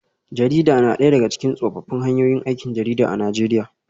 Jarida na daya daga cikin tsofaffin hanyoyin aikin jarida a Najeriya